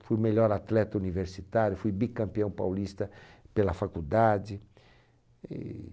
Fui melhor atleta universitário, fui bicampeão paulista pela faculdade. E...